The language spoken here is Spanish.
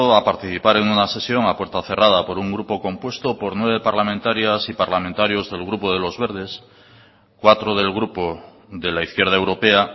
a participar a una sesión a puerta cerrada por un grupo compuesto por nueve parlamentarias y parlamentarios del grupo de los verdes cuatro del grupo de la izquierda europea